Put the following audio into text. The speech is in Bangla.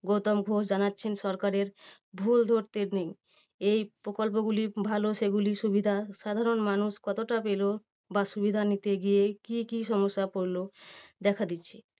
গৌতম ঘোষ জানাচ্ছেন সরকারের ভুল ধরতে নেই। এই প্রকল্পগুলো ভালো সেগুলি সুবিধা সাধারণ মানুষ কতটা পেলো? বা সুবিধা নিতে গিয়ে কি কি সমস্যা পড়লো? দেখা দিচ্ছে।